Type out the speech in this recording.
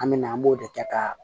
An me na an b'o de kɛ ka